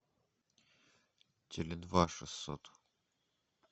теле два шестьсот